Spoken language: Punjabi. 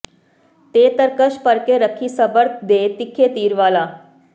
ਤੇ ਤਰਕਸ਼ ਭਰਕੇ ਰੱਖੀਂ ਸਬਰ ਦੇ ਤਿੱਖੇ ਤੀਰ ਵਾਲਾ